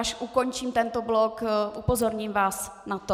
Až ukončím tento blok, upozorním vás na to.